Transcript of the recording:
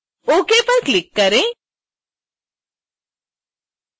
ok पर click करें